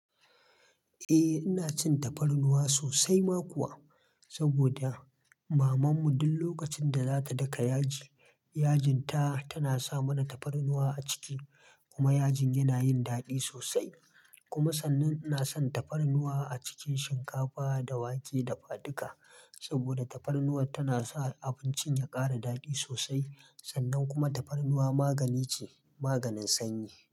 Eh ina cin tafarnuwa sosai ma kuwa, saboda mamanmu duk lokacin da za ta daka yaji, yajinta tana sa mana tafarnuwa a ciki kuma yajin yana yin daɗi sosai. Kuma sannan ina son tafarnuwa a cikin shinkafa da wake dafaduka. Saboda tafarnuwa tana sa abincin ya ƙara daɗi sosai. Sannan kuma tafarnuwa magani ce, maganin sanyi.